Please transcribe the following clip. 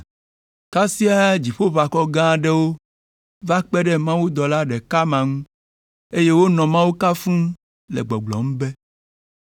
Kasia dziƒoʋakɔ gã aɖewo va kpe ɖe mawudɔla ɖeka ma ŋu, eye wonɔ Mawu kafum le gbɔgblɔm be,